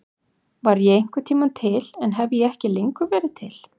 Var ég einhvern tíma til en hef ég ekki lengur verið til?